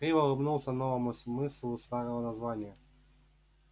криво улыбнулся новому смыслу старого названия